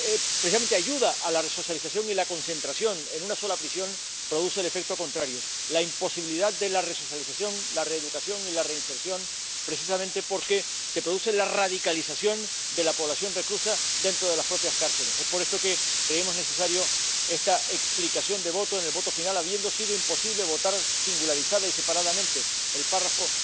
precisamente ayuda a la resocialización, y la concentración en una sola prisión produce el efecto contrario la imposibilidad de la resocialización, la reeducación y la reinserción, precisamente porque se produce la radicalización de la población reclusa, dentro de las propias cárceles. Es por esto que creemos necesaria esta explicación de voto en la votación final al haber sido imposible votar singularizada y separadamente el apartado